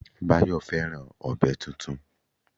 Báyọ̀ fẹ́ràn ọ̀bẹ tuntun